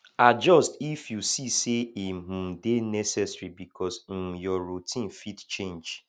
adjust if you see sey e um dey necessary because um your routine fit change